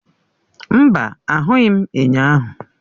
Mba, ahụghị m enyo ahụ.